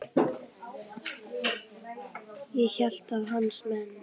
Ég hélt að hans menn.